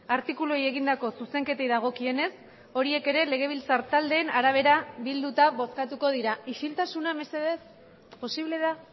artikuluei egindako zuzenketei dagokienez horiek ere legebiltzar taldeen arabera bilduta bozkatuko dira isiltasuna mesedez posible da